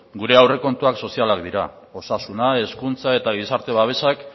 gure aurrekontuak sozialak dira osasuna hezkuntza eta gizarte babesak